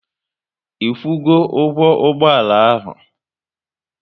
Ikwu go ụgwọ ụgbọala ahụ?